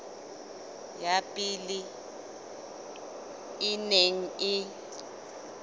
ya pele e neng e